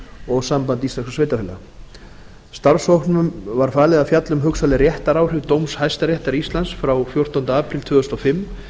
og sambandi íslenskum sveitarfélaga starfshópnum var falið að fjalla um hugsanleg réttaráhrif dóms hæstaréttar íslands frá fjórtánda apríl tvö þúsund og fimm